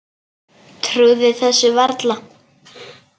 Trúði þessu varla.